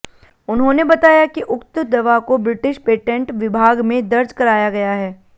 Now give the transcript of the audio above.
उन्होंने बताया कि उक्त दवा को ब्रिटिश पेटेंट विभाग में दर्ज कराया गया है